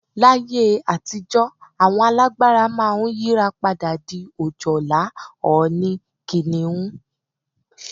Laye àtijó̩ àwo̩n alágbára máa ń yírapadà di ojòlá, ò̩ò̩nì, kìnìún, e̩kùn, erin, abbl.